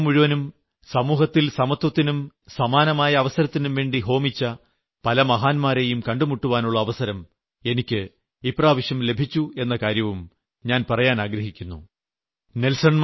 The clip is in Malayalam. തങ്ങളുടെ യുവത്വം മുഴുവനും സമൂഹത്തിൽ സമത്വത്തിനും സമാനമായ അവസരത്തിനും വേണ്ടി ഹോമിച്ച പല മഹാന്മാരേയും കണ്ടുമുട്ടുവാനുള്ള അവസരം എനിയ്ക്ക് ഇപ്രാവശ്യം ലഭിച്ചു എന്ന കാര്യവും ഞാൻ പറയാൻ ആഗ്രഹിക്കുന്നു